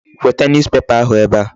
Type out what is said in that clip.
Weta newspaper ahụ ebe a.